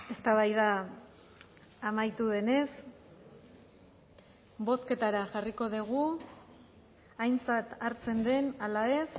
eztabaida amaitu denez bozketara jarriko dugu aintzat hartzen den ala ez